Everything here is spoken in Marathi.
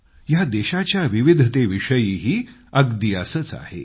या देशाच्या विविधेतेविषयीही अगदी असंच आहे